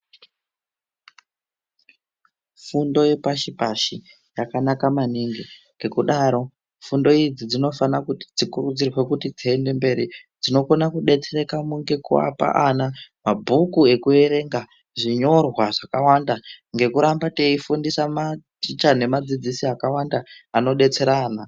Fundo yepashi pashi yakanaka maningi ngekudaro fundo idzi dzinofana dzikurudzirwe kuti dziende mberi dzinokona kudetsereka nekuapa ana mabhuku ekuverenga zvinyorwa zvakawanda ngeku rambba teifundisa maticha nevadzidzisi vakawanda anodetsera ana.